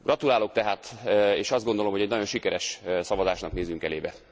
Gratulálok tehát, és azt gondolom, hogy egy nagyon sikeres szavazásnak nézünk elébe.